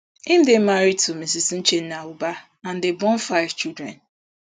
im dey married to mrs uchenna ubah and dem born five children